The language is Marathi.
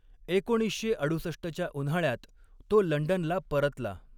एकोणीसशे अडुसष्टच्या उन्हाळ्यात तो लंडनला परतला.